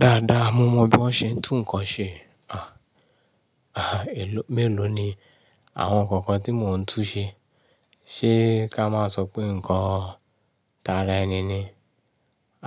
Dáadáa mo mọ bí wọ́n se ń tún nǹkan ṣe. Èló mélòó ni àwọn nǹkan kan tí mò ń tún ṣe? Ṣé ká máa sọ pé nǹkan tara ẹni ni?